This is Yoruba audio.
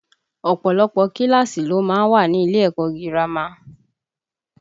Ọ̀pọ̀lọpọ̀ kíláàsì ló má ń wà ní ilé ẹ̀kọ́ girama